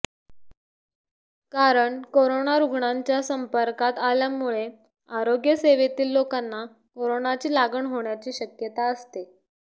कारण कोरोना रुग्णांच्या संपर्कात आल्यामुळे आरोग्य सेवेतील लोकांना कोरोनाची लागण होण्याची शक्यता असते